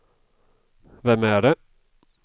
vem är det